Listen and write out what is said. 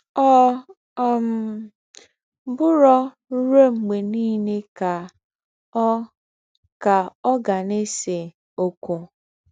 “Ọ̀ um bùrọ̀ ruò mgbè nílé ká Ọ̀ ká Ọ̀ gà nà-èsé ókwú.”